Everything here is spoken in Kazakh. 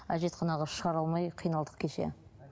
әжетханаға шығара алмай қиналдық кеше